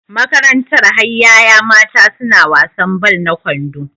Makaranta har yaya mata suna wasan ball na kwando